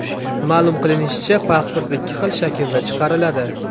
Ma’lum qilinishicha, pasport ikki xil shaklda chiqariladi.